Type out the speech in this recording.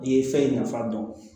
I ye fɛn nafa dɔn